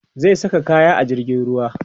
zai sa kayan a jirgin ruwa